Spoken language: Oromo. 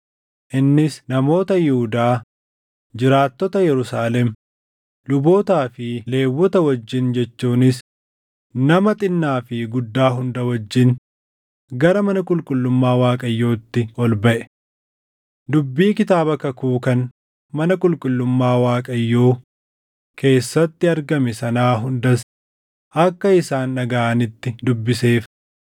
Innis namoota Yihuudaa, jiraattota Yerusaalem, lubootaa fi Lewwota wajjin jechuunis nama xinnaa fi guddaa hunda wajjin gara mana qulqullummaa Waaqayyootti ol baʼe. Dubbii Kitaaba Kakuu kan mana qulqullummaa Waaqayyoo keessatti argame sanaa hundas akka isaan dhagaʼanitti dubbiseef.